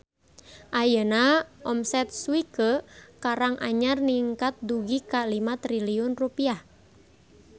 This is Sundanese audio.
Ayeuna omset Swike Karang Anyar ningkat dugi ka 5 triliun rupiah